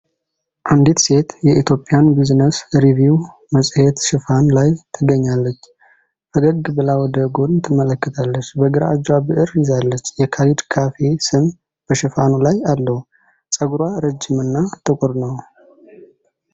አንዲት ሴት የኢትዮጲያን ቢዝነስ ሪቪው መጽሔት ሽፋን ላይ ትገኛለች ። ፈገግ ብላ ወደ ጎን ትመለከታለች። በግራ እጇ ብዕር ይዛለች። የካለዲ ካፌ ስም በሽፋኑ ላይ አለው። ፀጉሯ ረጅም እና ጥቁር ነው።